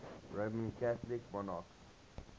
roman catholic monarchs